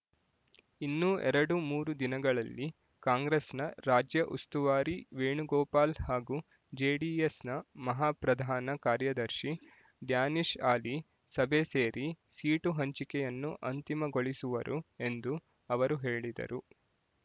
ಇನ್ನೂ ಎರಡು ಮೂರು ದಿನಗಳಲ್ಲಿ ಕಾಂಗ್ರೆಸ್ ನ ರಾಜ್ಯ ಉಸ್ತುವಾರಿ ವೇಣು ಗೋಪಾಲ್ ಹಾಗೂ ಜೆಡಿಎಸ್ ನ ಮಹಾ ಪ್ರಧಾನ ಕಾರ್ಯದರ್ಶಿ ಡ್ಯಾನಿಶ್ ಆಲಿ ಸಭೆ ಸೇರಿ ಸೀಟು ಹಂಚಿಕೆಯನ್ನು ಅಂತಿಮ ಗೊಳಿಸುವರು ಎಂದು ಅವರು ಹೇಳಿದರು